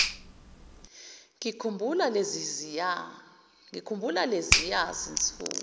ngikhumbula leziya zinsuku